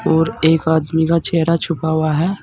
और एक आदमी का चेहरा छुपा हुआ है।